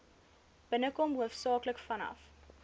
binnekom hoofsaaklik vanaf